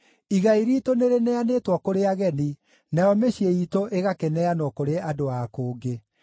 Igai riitũ nĩrĩneanĩtwo kũrĩ ageni, nayo mĩciĩ iitũ ĩgakĩneanwo kũrĩ andũ a kũngĩ.